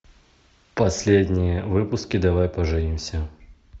последние выпуски давай поженимся